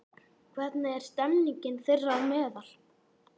Hvernig er stemmingin þeirra á meðal?